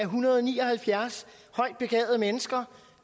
hundrede og ni og halvfjerds højt begavede mennesker